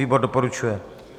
Výbor doporučuje.